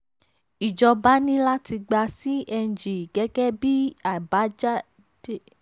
ìjọba ní láti gba cng gẹ́gẹ́ bí àbájáde